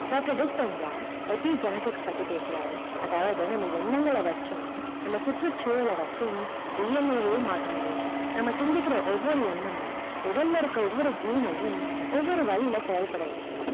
doctor epic genetic பத்தி பேசுறாரு அதாவது நம்ம எண்ணங்கள் வச்சும் நம்ம சுற்றுசூழல் வச்சும் DNA லே மாத்த முடியுமா நம்ம சந்திக்கிற ஒவ்வொரு எண்ணமும் உடல் இருக்குற ஒவ்வொரு gene னையும் ஒவ்வொரு வழியில செயல் பட வைக்கும்